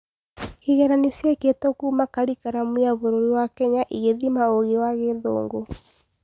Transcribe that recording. Kĩgeranio ciekĩĩtwo kuuma Karikiramu ya bũrũri wa Kenya ĩgĩthima ũgĩ wa gĩthũngũ